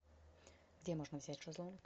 где можно взять шезлонг